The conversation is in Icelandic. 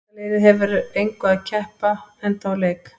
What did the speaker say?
Enska liðið hefur að engu að keppa enda úr leik.